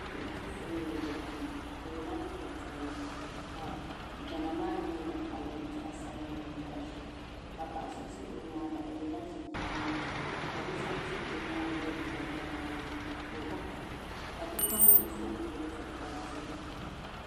Bia n zɛ solini n gbubi dala o yiɛla liiga piɛlli ka dala maa noli ni kɔɣili zaɣi sabinli mini zaɣi zɛɛ ka paɣa so zɛ o yɛanga o yiɛla chinchini liiga ka nidi Ɛ o yɛanga yiɛ liiga ka di ŋmani miliki kala ka o ka bipuɣin bila zi o yɛanga ka Kpabi bia.